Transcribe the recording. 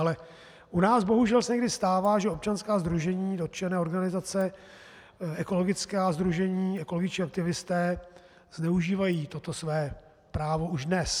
Ale u nás bohužel se někdy stává, že občanská sdružení, dotčené organizace, ekologická sdružení, ekologičtí aktivisté zneužívají toto své právo už dnes.